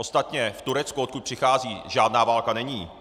Ostatně v Turecku, odkud přicházejí, žádná válka není.